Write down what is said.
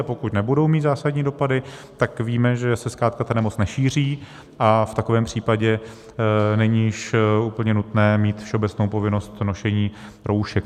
A pokud nebudou mít zásadní dopady, tak víme, že se zkrátka ta nemoc nešíří a v takovém případě není již úplně nutné mít všeobecnou povinnost nošení roušek.